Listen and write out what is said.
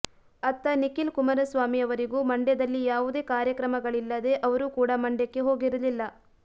ಅತ್ತ ನಿಖಿಲ್ ಕುಮಾರಸ್ವಾಮಿ ಅವರಿಗೂ ಮಂಡ್ಯದಲ್ಲಿ ಯಾವುದೇ ಕಾರ್ಯಕ್ರಮಗಳಿಲ್ಲದೆ ಅವರು ಕೂಡ ಮಂಡ್ಯಕ್ಕೆ ಹೋಗಿರಲಿಲ್ಲ